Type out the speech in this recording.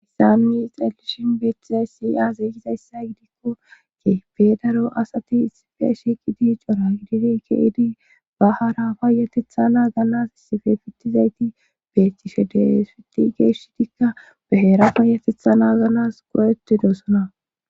issa nuni ixraelishin beettizay si azeykizayssa gidikko ke fe daro asati isife shiqidi cora gididi keydi ba hara bayatetha na gannas isife fittizayti beettishe deesiti geeshitikka baheera payatetha na ganas qo7etidosona